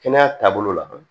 Kɛnɛya taabolo la